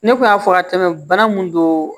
Ne kun y'a fɔ ka tɛmɛ bana mun don